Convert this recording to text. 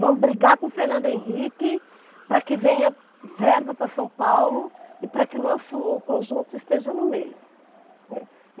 Vamos brigar com o Fernando Henrique para que venha verba para São Paulo e para que o nosso conjunto esteja no meio, né.